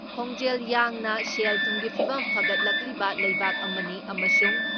ꯈꯣꯡꯖꯦꯜ ꯌꯥꯡꯅ ꯁꯦꯜ ꯊꯨꯝꯒꯤ ꯐꯤꯕꯝ ꯐꯒꯠꯂꯛꯂꯤꯕ ꯂꯩꯕꯥꯛ ꯑꯃꯅꯤ ꯑꯃꯁꯨꯡ